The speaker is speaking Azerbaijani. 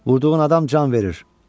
Vurduğun adam can verir.